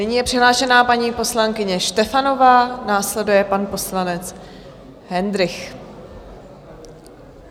Nyní je přihlášená paní poslankyně Štefanová, následuje pan poslanec Hendrych.